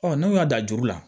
n'u y'a dan juru la